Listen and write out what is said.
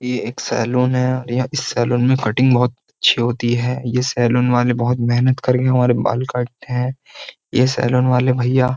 ये एक सैलून है इस सैलून में कटिंग बहुत अच्छी होती है ये सैलून वाले बहुत मेहनत करके हमारे बाल काटते हैं ये सैलून वाले भैया।